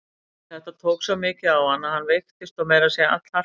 En þetta tók svo mikið á hann að hann veiktist og meira að segja allharkalega.